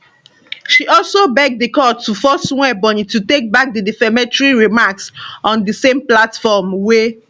she also beg di court to force nwaebonyi to take back di defamatory remarks on di same platform wia